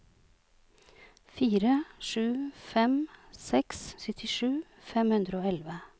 fire sju fem seks syttisju fem hundre og elleve